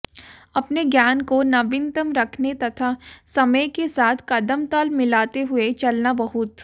अपने ज्ञान को नवीनतम रखने तथा समय के साथ कदमताल मिलाते हुए चलना बहुत